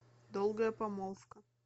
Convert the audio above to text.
долгая помолвка